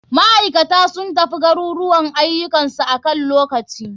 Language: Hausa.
Maikata sun tafi garuruwan ayukan su akan lokaci.